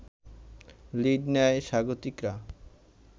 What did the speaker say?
lead নেয় স্বাগতিকরা